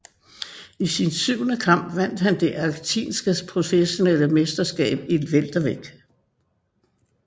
I sin syvende kamp vandt han det argentinske professionelle mesterskab i weltervægt